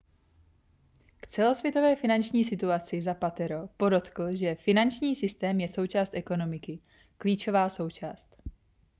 k celosvětové finanční situaci zapatero podotkl že finanční systém je součást ekonomiky klíčová součást